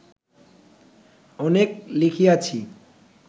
অনেক লিখিয়াছি